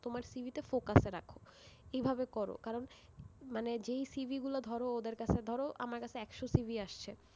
তোমার CV তে focus এ রাখো, এভাবে করো, কারণ মানে যেই CV গুলো ধরো ওদের কাছে, ধরো, আমার কাছে একশো CV আসছে,